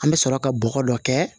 An bɛ sɔrɔ ka bɔgɔ dɔ kɛ